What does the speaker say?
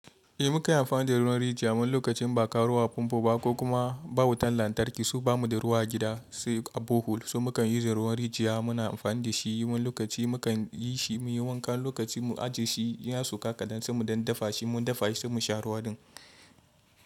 Eh mukan yi amfani da ruwan rijiya wan lokacin in ba ka ruwa a pampo ba ko kuma ba wutan lantarki so ba mu da ruwa a gida se a borehole. So mukan yi using ruwan rijiya muna amfani da shi yi wan lokaci mukan yi shi muyi wanka lokacin mu ajiye shi, in ya soka kadan sai mu dan dafa shi mun dafa shi se mu sha ruwa din.